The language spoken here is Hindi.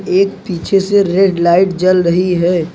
एक पीछे से रेड लाइट जल रही है।